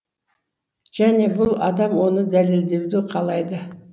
және бұл адам оны дәлелдеуді қалайды